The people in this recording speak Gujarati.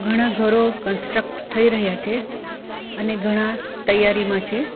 ઘણા ઘરો કન્સ્ટ્રક્ટ થઈ રહ્યા છે અને ઘણા તૈયારીમાં છે.